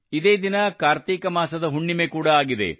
ಇದೇ ದಿನ ಕಾರ್ತೀಕ ಮಾಸದ ಹುಣ್ಣಿಮೆ ಕೂಡಾ ಆಗಿದೆ